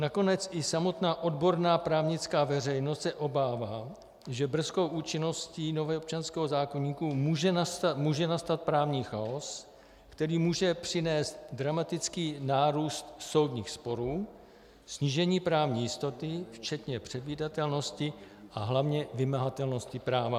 Nakonec i samotná odborná právnická veřejnost se obává, že brzkou účinností nového občanského zákoníku může nastat právní chaos, který může přinést dramatický nárůst soudních sporů, snížení právní jistoty, včetně předvídatelnosti a hlavně vymahatelnosti práva.